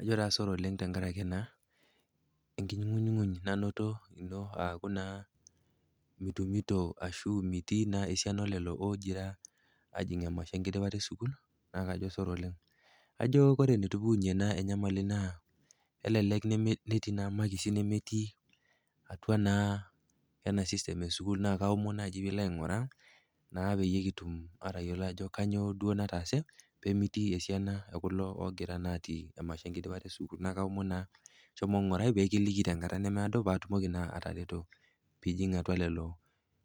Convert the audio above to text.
Ajo naa sore oleng tenkaraki naa engunyguny nainoto ino ajo naa mitumito ashu mitii naa esiana olelo ogira ajing emasho enkidipata e sukuul, naa kajo sore oleng. Kajo ore enetupukunye naa enyamali naa kelelek netii naa imakisi nemetii atua naa ena system e sukuul na ajo nai piilo aing'uraa naa peyie kitum ajo kanyoo duo nataase pee mitii esiana olelo ogira ajing emasho enkidipata e sukuul. Neaku aomon naa shomo ing'urai pee kiliki tenkata nemeado paatumoki naa atareto piijing atua lelo